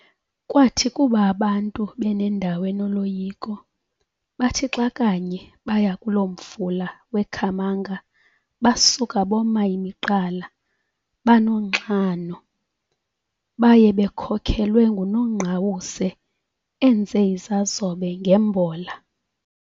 Kwathi kuba abantu benendawo enoloyiko, bathi xa kanye baya kuloo mfula wekhamanga basuka boma imiqala, banonxano, baye bekhokhelwe nguNongqawuse enze izazobe ngembola.